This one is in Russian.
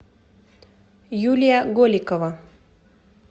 юлия голикова